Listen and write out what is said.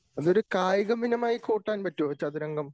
അതൊരു കായിക ഇനമായി കൂട്ടാൻ പറ്റ്വോ ചതുരംഗം?